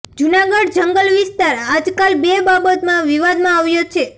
જૂનાગઢ જંગલ વિસ્તાર આજકાલ બે બાબતમાં વિવાદમાં આવ્યો છે